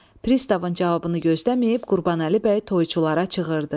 Pristavın cavabını gözləməyib, Qurbanəli bəy toyçulara çığırdı.